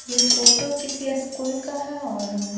ये फोटो किसी स्कूल का है और--